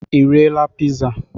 Ị riela piza?